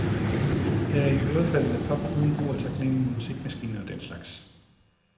Det er iørefaldende pop uden brug af taknemmelige musikmaskiner og den slags.